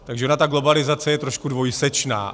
Takže ona ta globalizace je trošku dvojsečná.